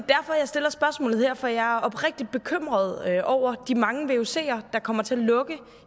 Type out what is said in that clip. jeg stiller spørgsmålet her for jeg er oprigtigt bekymret over de mange vucer der kommer til at lukke